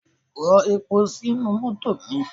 Rọ epo sínú mọ́tò mi!